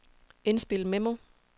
indspil memo